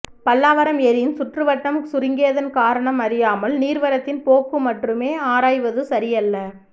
பல்லாவரம் ஏரியின் சுற்றுவட்டம் சுருங்கியதன் காரணம் அறியாமல் நீர் வரத்தின் போக்கு மற்றுமே ஆராய்வது சரியல்ல